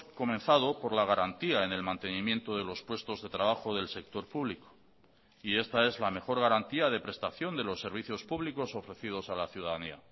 comenzado por la garantía en el mantenimiento de los puestos de trabajo del sector público y esta es la mejor garantía de prestación de los servicios públicos ofrecidos a la ciudadanía